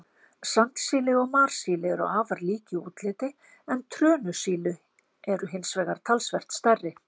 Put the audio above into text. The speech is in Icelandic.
Sandsíli og marsíli eru afar lík í útliti, en trönusíli eru hins vegar talsvert stærri.